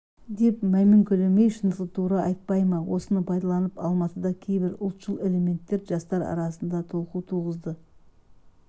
деп мәймөңкелемей шындықты тура айтпай ма осыны пайдаланып алматыда кейбір ұлтшыл элементтер жастар арасында толқу туғызды